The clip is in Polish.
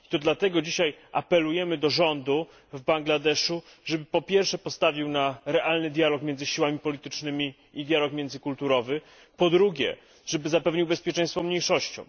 Dlatego dzisiaj apelujemy do rządu w Bangladeszu, żeby po pierwsze postawił na realny dialog między siłami politycznymi i dialog międzykulturowy, po drugie żeby zapewnił bezpieczeństwo mniejszościom.